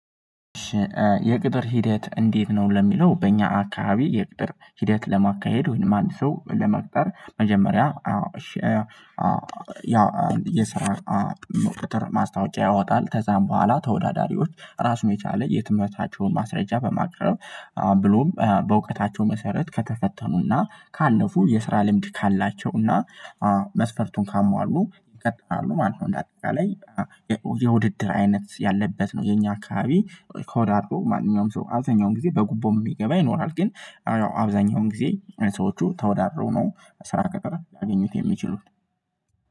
የቅጥር ሂደት እንዴት ነው? ለሚለው በእኛ አካሄድ የቅጥር ሂደት ለማካሄድ ወይም አንድ ሰው ለመቅጠር መጀመሪያ ያው የስራ መቅጠር ማስታወቂያ ያወጣል። ከዛም በኋላ ተወዳዳሪዎች ራሱን የቻለ የትምህርታቸውን ማስረጃ በማቅረብ ብሎም በእውቀታቸው መሰረት ከተፈተኑና ካለፉ የስራ ልምድ ካላቸውና መስፈርቱን ካሟሉ ይቀጥላሉ ማለት ነው። እንደ አጠቃላይ የውድድር አይነት ያለበት ነው። የኛ አካባቢ ተወዳድሮ ማንኛውም ሰው አብዛኛውን ጊዜ በጉቦ የሚገባ ይኖራል። ግን አዎ አንዳንድ ጊዜ ሰዎቹ ተወዳድረው ነው ስራ ቀጠራ ሊያገኙት የሚችሉት።